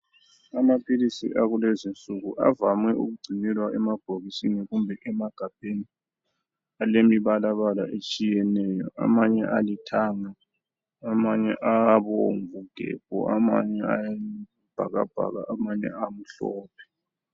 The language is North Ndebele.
Amaphilisi akulezinsuku avame ukugcinelwa emabhokisini kumbe emagabheni alemibalabala etshiyeneyo. Amanye alithanga, amanye abomvu gebhu, amanye ayisibhakabhaka, amanye amhlophe.